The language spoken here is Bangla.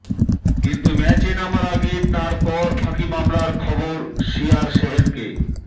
কিন্তু ম্যাচে নামার আগে তাঁর কর ফাঁকি মামলার খবর সিআর সেভেনকে